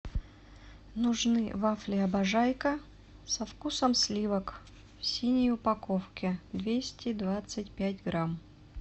нужны вафли обожайка со вкусом сливок в синей упаковке двести двадцать пять грамм